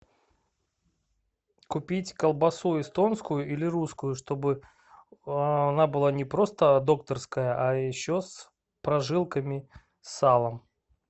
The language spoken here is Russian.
купить колбасу эстонскую или русскую чтобы она была не просто докторская а еще с прожилками салом